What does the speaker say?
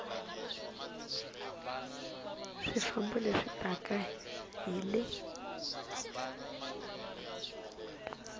swifambo leswi taka hi le